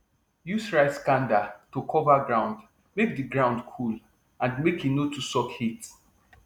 use rice kanda to cover ground make di ground cool and make e no too suck heat